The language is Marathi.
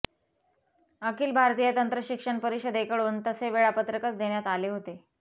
अखिल भारतीय तंत्रशिक्षण परिषदेकडून तसे वेळापत्रकच देण्यात आले होते